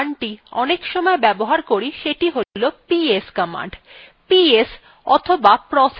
processes সম্পর্কে আমরা the command অনেকসময় ব্যবহার করি সেটি হলো ps command